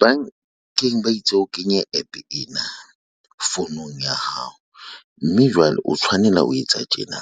Bankeng ba itse o kenye APP ena founung ya hao mme jwale o tshwanela ho etsa tjena.